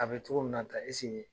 A be cogo min na tan nin